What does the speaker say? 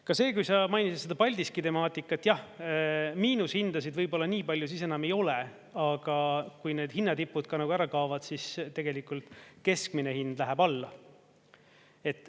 Ka see, kui sa mainisid seda Paldiski temaatikat, jah, miinushindasid võib-olla niipalju siis enam ei ole, aga kui need hinnatipud ära kaovad, siis tegelikult keskmine hind läheb alla.